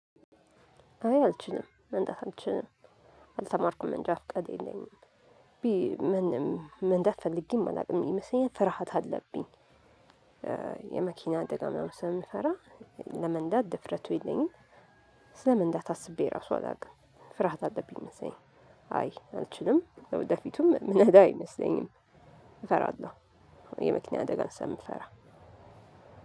አይ አልችልም መንዳት አልችልም አልተማርኩም እንጃፍቃድ የለኝም። ምንም መንዳት ፈልጌም አላውቅም ይመስለኛል ፍርሃት አለብኝ። የመኪና ደጋሚ ምናምን ስለምፈራ። ለመንዳት ድፍረቱ የለኝም። ስለመንዳት አስቤ ራሱ አላውቅም ፍርሃት አለብኝ መሰለኝ። አይ አልችልም ለወደፊቱም ምነዳ አይመስለኝም። እፈራለሁ የመኪና አደጋ ስለምፈራ።